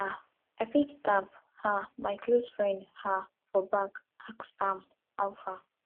um i fit tap um my close friend um for back ask am how far